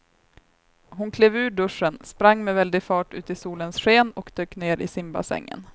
Hon klev ur duschen, sprang med väldig fart ut i solens sken och dök ner i simbassängen.